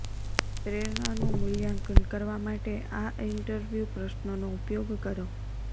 પ્રેરણાનું મૂલ્યાંકન કરવા માટે આ ઇન્ટરવ્યૂ પ્રશ્નોનો ઉપયોગ કરો